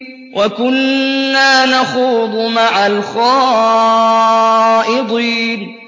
وَكُنَّا نَخُوضُ مَعَ الْخَائِضِينَ